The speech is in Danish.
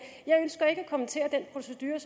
kommentere den procedure